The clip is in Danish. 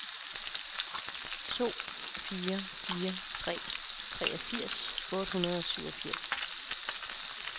to fire fire tre treogfirs otte hundrede og syvogfirs